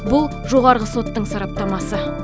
бұл жоғарғы соттың сараптамасы